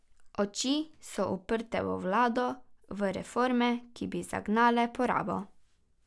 Oči so uprte v vlado, v reforme, ki bi zagnale porabo.